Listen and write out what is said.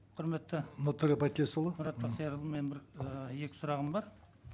құрметті нұртөре байтілесұлы мұрат бақтиярұлы менің бір ы екі сұрағым бар